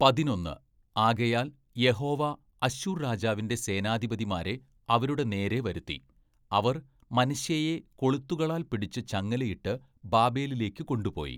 പതിനൊന്ന്, ആകയാൽ യഹോവ അശ്ശൂർ രാജാവിന്റെ സേനാധിപതിമാരെ അവരുടെ നേരെ വരുത്തി അവർ മനശ്ശെയെ കൊളുത്തുകളാൽ പിടിച്ചു ചങ്ങലയിട്ടു ബാബേലിലേക്കു കൊണ്ടുപോയി.